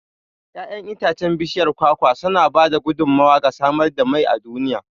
Yaƴan itacen bishiyar kwakwa sana ba da gudummawa ga samar da mai a duniya.